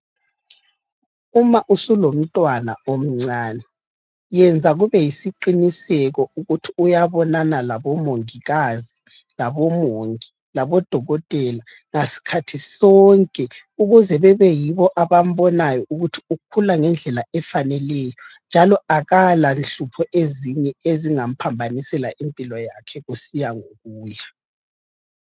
Uma usulomntwana omncane yenza kube yisiqiniseko ukuthi uyabonana labomongikazi, labomongi, labodokotela, ngasikhathi sonke ukuze bebeyibo abambonayo ukuthi ukhula ngendlela efaneleyo njalo akala nhlupho ezinye ezingamphambanisela impilo yakhe kusiya ngokuya.